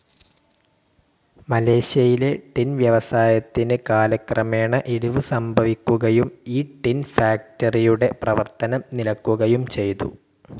മലേഷ്യയിലെ ടിൻ വ്യവസായത്തിന് കാലക്രമേണ ഇടിവ് സംഭവിക്കുകയും ഈ ടിൻ ഫാക്ടറിയുടെ പ്രവർത്തനം നിലയ്ക്കുകയും ചെയ്തു.